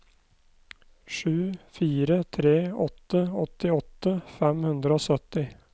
sju fire tre åtte åttiåtte fem hundre og sytti